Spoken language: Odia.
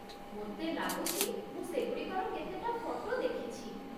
ମୋତେ ଲାଗୁଛି ମୁଁ ସେଗୁଡ଼ିକର କେତେଟା ଫଟୋ ଦେଖିଛି ।